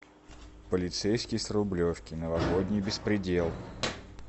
полицейский с рублевки новогодний беспредел